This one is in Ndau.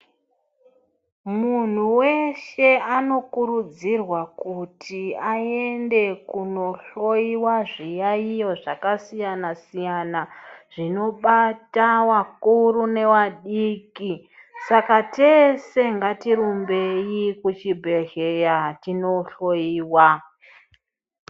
Munhu weshe anokurudzirwa kuti aende kunohloyiwa zviyayiyo zvakasiyana siyana zvinobata wakuru newadiki, saka tese ngatirumbei kuchibhedheya tinohloyiwa.